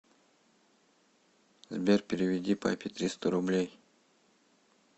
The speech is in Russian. сбер переведи папе триста рублей